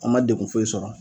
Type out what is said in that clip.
An ma degun foyi sɔrɔ